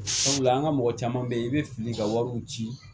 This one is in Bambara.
Sabula an ka mɔgɔ caman bɛ yen i bɛ fili ka wariw ci